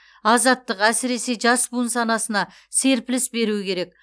азаттық әсіресе жас буын санасына серпіліс беруі керек